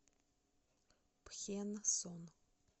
пхенсон